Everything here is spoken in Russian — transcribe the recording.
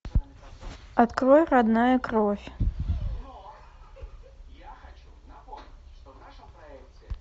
открой родная кровь